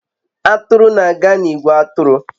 Atụrụ na-aga n'ìgwè atụrụ